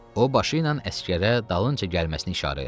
O başı ilə əsgərə dalınca gəlməsini işarə elədi.